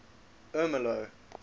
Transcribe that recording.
ermelo